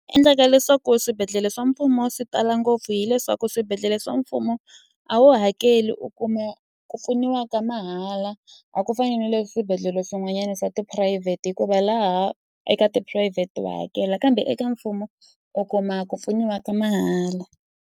Endleka leswaku swibedhlele swa mfumo swi tala ngopfu hileswaku swibedhlele swa mfumo a wu hakeli u kuma ku pfuniwa ka mahala a ku fani na le swibedhlele swin'wanyana swa tiphurayivhete hikuva laha eka tiphurayivhete wa hakela kambe eka mfumo u kuma ku pfuniwa ka mahala.